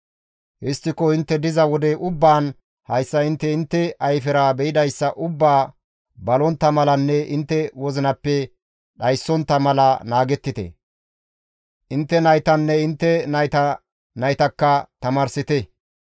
«Histtiko intte diza wode ubbaan hayssa intte intte ayfera be7idayssa ubbaa balontta malanne intte wozinappe dhayontta mala naagettite; intte naytanne intte nayta naytakka tamaarsite.